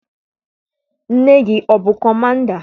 Nne gị abụ kọmanda?